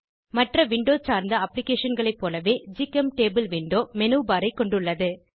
மற்ற விண்டோ சார்ந்த அப்ளிகேஷன்களை போலவே ஜிசெம்டபிள் விண்டோ மெனுபர் ஐ கொண்டுள்ளது